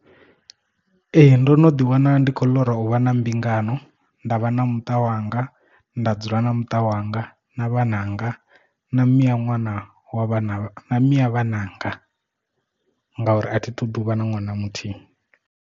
Ee ndo no ḓi wana ndi khou ḽora u vha na mbingano nda vha na muṱa wanga nda dzula na muṱa wanga na vhananga na miya ṅwana wa vhana miya vhananga ngauri a thi ṱoḓi uvha na ṅwana muthihi.